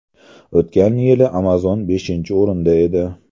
O‘tgan yili Amazon beshinchi o‘rinda edi.